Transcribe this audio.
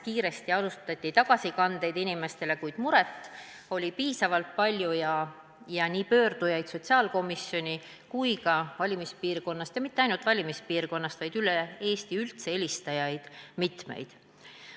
Kiiresti alustati inimestele tagasikannete tegemist, kuid muret oli piisavalt palju ning nii sotsiaalkomisjoni poole pöördujaid kui ka valimispiirkonnast – ja mitte ainult valimispiirkonnast, vaid üldse üle Eesti – helistajaid oli mitmeid.